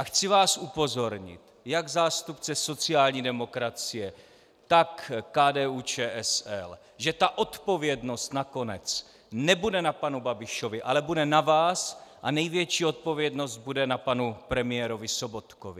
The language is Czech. A chci vás upozornit, jak zástupce sociální demokracie, tak KDU-ČSL, že ta odpovědnost nakonec nebude na panu Babišovi, ale bude na vás a největší odpovědnost bude na panu premiérovi Sobotkovi.